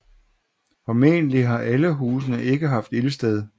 Formentlig har alle huse ikke haft ildsted